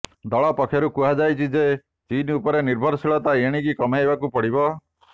ଦଳ ପକ୍ଷରୁ କୁହାଯାଇଛି ଯେ ଚୀନ ଉପରେ ନିର୍ଭରଶୀଳତା ଏଣିକି କମାଇବାକୁ ପଡ଼ିବ